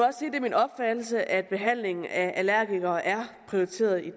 er min opfattelse at behandlingen af allergikere er prioriteret i